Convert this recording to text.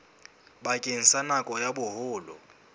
bakeng sa nako ya boholo